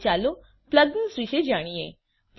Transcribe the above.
હવે ચાલો પ્લગઇન્સ વિશે જાણીએ